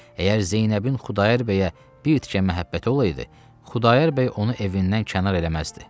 Əgər Zeynəbin Xudayar bəyə bir tikə məhəbbəti olaydı, Xudayar bəy onu evindən kənar eləməzdi.